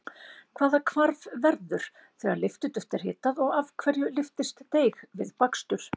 Hvaða hvarf verður þegar lyftiduft er hitað og af hverju lyftist deig við bakstur?